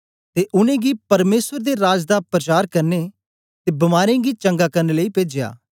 ते उनेंगी परमेसर दे राज दा प्रचार करने ते बीमारें गी चंगा करन लेई पेजया